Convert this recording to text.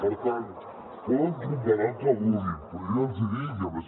per tant poden comparar el que vulguin però jo ja els hi dic i a més